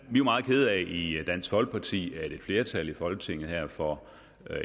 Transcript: vi er meget kede af i dansk folkeparti at et flertal i folketinget for